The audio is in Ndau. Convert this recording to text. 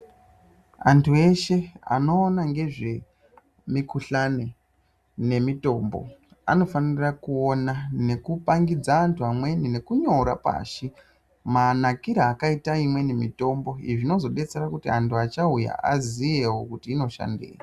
Antu eshe anoona ngezvemikuhlani nemitombo anofanira kuona nekupangidza antu amweni nekunyora pashi, manakire akaita imweni mitombo izvo zvinozodetsera kuti antu achauya aziyewo kuti inoshandei.